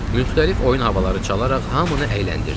Müxtəlif oyun havaları çalaraq hamını əyləndirdik.